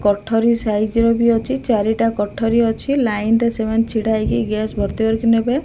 କଠୋରି size ର ବି ଅଛି ଚାରିଟା କଠୋରୀ ଅଛି ଲାଇନ ରେ ସେମାନେ ଛିଡାହେଇକି ଗ୍ୟାସ ଭର୍ତ୍ତି କରିକି ନେବେ।